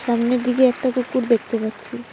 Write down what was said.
সামনের দিকে একটা কুকুর দেখতে পাচ্ছি।